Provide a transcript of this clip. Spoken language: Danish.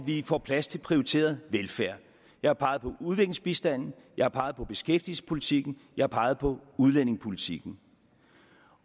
få plads til prioriteret velfærd jeg har peget på udviklingsbistanden jeg har peget på beskæftigelsespolitikken jeg har peget på udlændingepolitikken